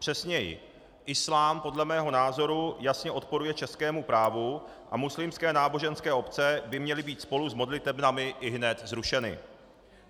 Přesněji, islám podle mého názoru jasně odporuje českému právu a muslimské náboženské obce by měly být spolu s modlitebnami i hned zrušeny.